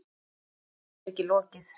Sögunni er ekki lokið.